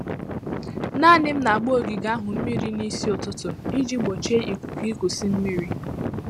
Naanị m na-agba ogige ahụ mmiri n'isi ụtụtụ iji gbochie ikuku ikusi mmiri.